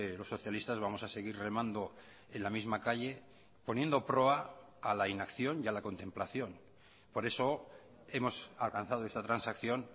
los socialistas vamos a seguir remando en la misma calle poniendo proa a la inacción y a la contemplación por eso hemos alcanzado esta transacción